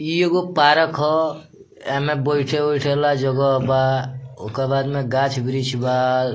इ एगो पार्क ह एमे बइठे-उठे वाला जगह बा ओकर बाद में गाछ-वृछ बा।